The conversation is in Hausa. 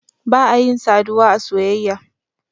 ba a yin saduwa a soyayya.